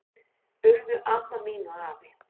Urðu amma mín og afi.